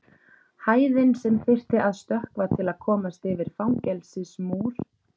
Hæðin sem þyrfti að stökkva til að komast yfir fangelsismúr.